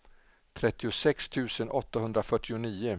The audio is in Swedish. trettiosex tusen åttahundrafyrtionio